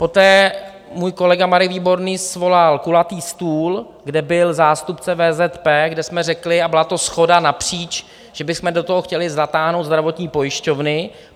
Poté můj kolega Marek Výborný svolal kulatý stůl, kde byl zástupce VZP, kde jsme řekli, a byla to shoda napříč, že bychom do toho chtěli zatáhnout zdravotní pojišťovny.